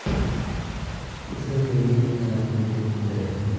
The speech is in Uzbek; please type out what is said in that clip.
Ism menga katta mas’uliyat yuklaydi.